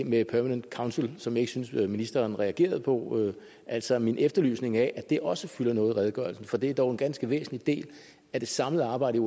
med permanent council som jeg ikke synes ministeren reagerede på altså min efterlysning af at det også fylder noget i redegørelsen for det er dog en ganske væsentlig del af det samlede arbejde